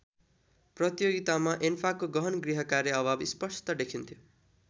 प्रतियोगितामा एन्फाको गहन गृहकार्य अभाव स्पष्ट देखिन्थ्यो।